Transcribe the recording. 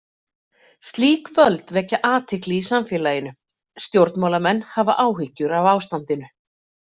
Slík völd vekja athygli í samfélaginu, stjórnmálamenn hafa áhyggjur af ástandinu.